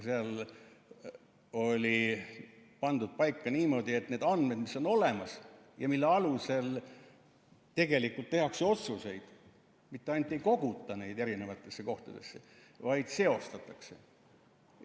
Seal oli pandud paika niimoodi, et need andmed, mis on olemas ja mille alusel tegelikult tehakse otsuseid, mitte ainult ei koguta erinevatesse kohtadesse, vaid seostatakse.